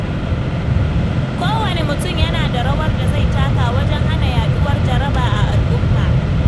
Kowane mutum yana da rawar da zai taka wajen hana yaduwar jaraba a al’umma.